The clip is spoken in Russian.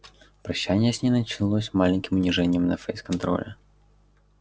прощание с ней начиналось маленьким унижением на фейс-контроле